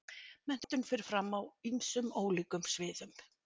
Menntun fer fram á ýmsum ólíkum sviðum.